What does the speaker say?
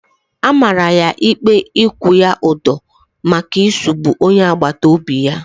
A mara ya ikpe ikwu ya udo maka isugbu onye agbata obi ya